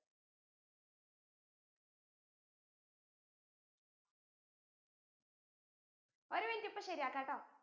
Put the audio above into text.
ഒരു minute ഇപ്പോ ശരിയാക്കാ ട്ടൊ